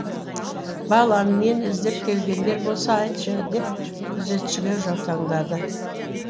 балам мені іздеп келгендер болса айтшы деп күзетшіге жаутаңдады